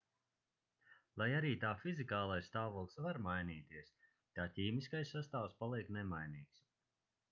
lai arī tā fizikālais stāvoklis var mainīties tā ķīmiskais sastāvs paliek nemainīgs